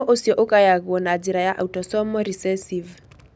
Mũrimũ ũcio ũgayagwo na njĩra ya autosomal recessive.